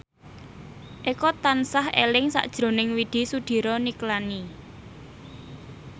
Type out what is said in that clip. Eko tansah eling sakjroning Widy Soediro Nichlany